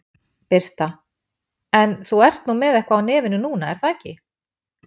Birta: En þú ert nú með eitthvað á nefinu núna er það ekki?